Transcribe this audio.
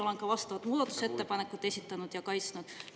Olen ka vastavaid muudatusettepanekuid esitanud ja kaitsnud.